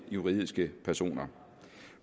juridiske personer